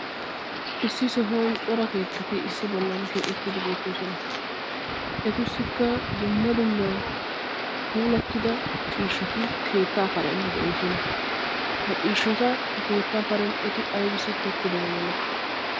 Issi sohuwaan cora keettati issi bollan keexettidi beettoosona. etassikka dumma dumma puulattida ciishshati keettaa karen de'oosona. ha ciishshata ha keettaa karen eti aybissi tokkidaba milatii?